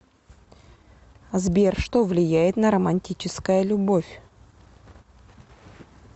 сбер что влияет на романтическая любовь